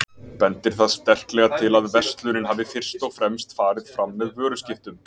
Bendir það sterklega til að verslunin hafi fyrst og fremst farið fram með vöruskiptum.